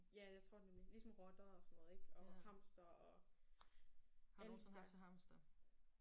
Ja jeg tror det nemlig. Ligesom rotter og sådan noget ikk og hamstere og alle de der